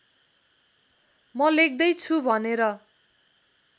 म लेख्दैछु भनेर